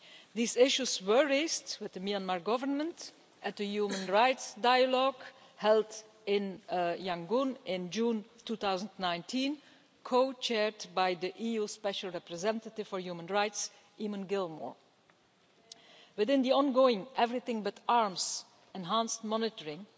These issues were raised with the Myanmar Government at the Human Rights Dialogue held in Yangon in June 2019, co chaired by the EU Special Representative for Human Rights, Eamon Gilmore. Within the ongoing Everything But Arms enhanced monitoring,